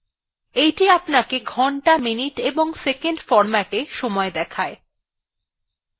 এইটি আমাদেরকে ঘন্টা minutes এবং seconds hh: mm: ss ফরম্যাটএ সময় দেখায়